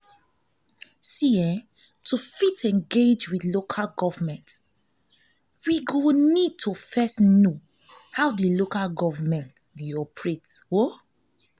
to fit engage with local government we need to first know how di local government dey operate